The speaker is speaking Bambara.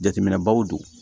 Jateminɛbaw don